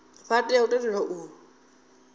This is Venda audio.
vha tea u tendelwa u